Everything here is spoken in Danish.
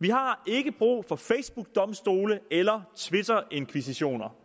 vi har ikke brug for facebookdomstole eller twitterinkvisitioner